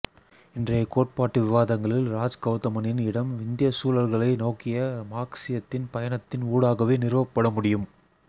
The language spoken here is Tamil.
இன்றைய கோட்பாட்டு விவாதங்களில் ராஜ் கௌதமனின் இடம் இந்தியச் சூழல்களை நோக்கிய மார்க்சியத்தின் பயணத்தின் ஊடாகவே நிறுவப்பட முடியும்